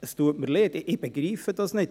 Es tut mir leid, das begreife ich nicht.